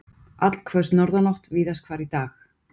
Allhvöss norðanátt víðast hvar í dag